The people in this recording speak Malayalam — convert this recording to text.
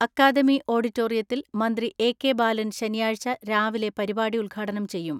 അക്കാദമി ഓഡി റ്റോറിയത്തിൽ മന്ത്രി എ കെ ബാലൻ ശനിയാഴ്ച രാവിലെ പരിപാടി ഉദ്ഘാടനം ചെയ്യും.